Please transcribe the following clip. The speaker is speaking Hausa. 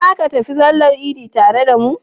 Za ka tafi sallar idi tare da mu?